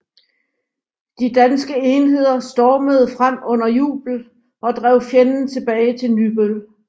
De danske enheder stormede frem under jubel og drev fjenden tilbage til Nybøl